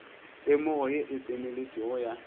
temogo ye e tseneletšego ya